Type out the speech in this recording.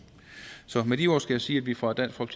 så med de ord skal jeg sige at vi fra dansk